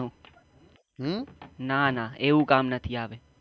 નાના એવું કામ નથી આવતું.